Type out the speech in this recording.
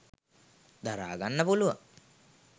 දරාගන්න පුළුවන්.